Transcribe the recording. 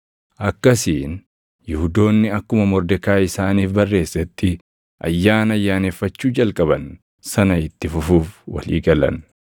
Akkasiin Yihuudoonni akkuma Mordekaayi isaaniif barreessetti ayyaana ayyaaneffachuu jalqaban sana itti fufuuf walii galan.